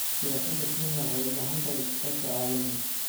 Siyaasadda Kenya waxay u baahan tahay iskaashi caalami ah.